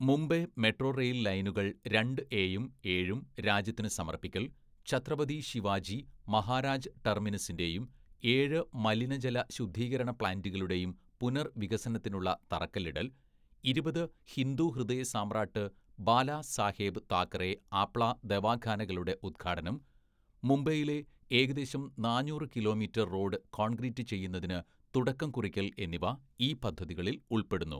"Mumbai metro rail‍ ലൈനുകള്‍ രണ്ട് എയും ഏഴും രാജ്യത്തിന് സമര്‍പ്പിക്കല്‍, ഛത്രപതി ശിവാജി മഹാരാജ് ടെര്‍മിനസിന്റെയും ഏഴ് മലിനജല ശുദ്ധീകരണ പ്ലാന്റുകളുടെയും പുനര്‍വികസനത്തിനുള്ള തറക്കല്ലിടല്‍, ഇരുപത് ഹിന്ദു ഹൃദയസാമ്രാട്ട് ബാലാസാഹെബ് താക്കറെ ആപ്ല ദവാഖാനകളുടെ ഉദ്ഘാടനം, മുംബൈയിലെ ഏകദേശം നാന്നൂറ് കിലോമീറ്റര്‍ റോഡ് കോണ്ക്രീറ്റ് ചെയ്യുന്നതിന് തുടക്കംകുറിക്കല്‍ എന്നിവ ഈ പദ്ധതികളില്‍ ഉള്‍പ്പെടുന്നു. "